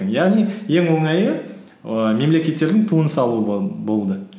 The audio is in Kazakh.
яғни ең оңайы ііі мемлекеттердің туын салу болды